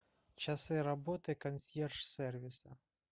часы работы консьерж сервиса